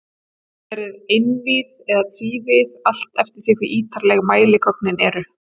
Hún getur verið einvíð eða tvívíð, allt eftir því hve ítarleg mæligögnin eru.